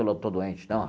Eu não estou doente, não.